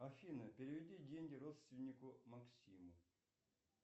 афина переведи деньги родственнику максиму